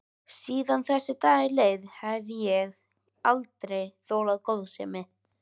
Síðan þessi dagur leið hef ég aldrei þolað góðsemi.